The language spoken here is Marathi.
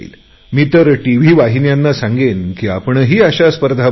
मी तर टीव्ही वाहिन्यांना सांगेन की आपणही अशा स्पर्धा भरवा